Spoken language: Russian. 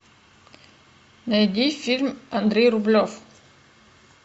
найди фильм андрей рублев